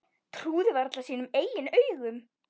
Trúði varla sínum eigin augum.